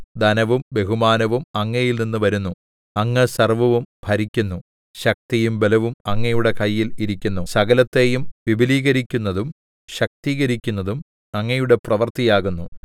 ധനവും ബഹുമാനവും അങ്ങയിൽനിന്ന് വരുന്നു അങ്ങ് സർവ്വവും ഭരിക്കുന്നു ശക്തിയും ബലവും അങ്ങയുടെ കയ്യിൽ ഇരിക്കുന്നു സകലത്തെയും വിപുലീകരിക്കുന്നതും ശക്തീകരിക്കുന്നതും അങ്ങയുടെ പ്രവൃത്തിയാകുന്നു